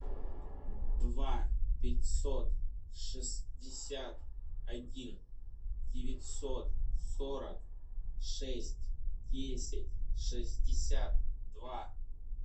два пятьсот шестьдесят один девятьсот сорок шесть десять шестьдесят два